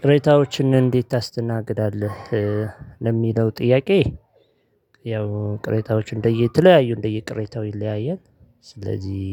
ቅሬታዎችን እንዴት ታስተናግዳለህ? ለሚለው ጥያቄ ያው ቅሬታዎች እንደየ የተለያዩ እንደየ ቅሬታው ይለያያል። ስለዚህ